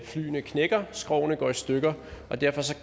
flyene knækker skrogene går i stykker og derfor